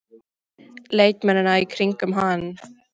Leikmennina í kringum hann?